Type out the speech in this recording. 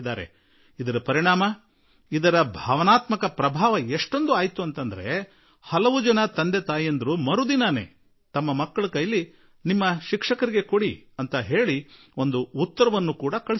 ಈ ಪತ್ರ ಪಡೆದ ಮಾರನೆಯ ದಿನ ಮಕ್ಕಳು ಶಾಲೆಗೆ ಹೊರಟಾಗ ಅವರ ತಂದೆ ತಾಯಿಗಳು ಅವರ ಟೀಚರ್ ಗೆ ಕೊಡಲು ಒಂದು ಕಾಗದ ಕೊಟ್ಟರು